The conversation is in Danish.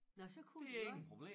Nåh så kunne de godt